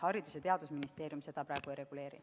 Haridus- ja Teadusministeerium seda praegu ei reguleeri.